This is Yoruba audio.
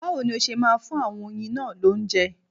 Báwo ni ó ṣe máa fún àwọn oyin náà lóúnjẹ?